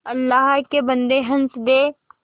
अल्लाह के बन्दे हंस दे